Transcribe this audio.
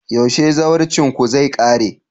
yaushe zawarcinku zai kare?